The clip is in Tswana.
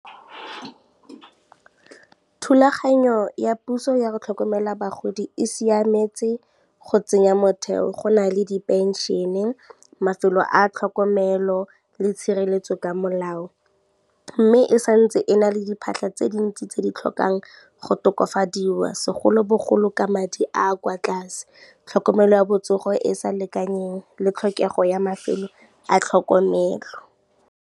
Thulaganyo ya puso ya go tlhokomela bagodi e siametse go tsenya motheo go na le di-pension-e, mafelo a tlhokomelo le tshireletso ka molao, mme e santse e na le diphatlha tse dintsi tse di tlhokang go tokafadiwa segolobogolo ka madi a kwa tlase, tlhokomelo ya botsogo e sa lekaneng le tlhokego ya mafelo a tlhokomelo.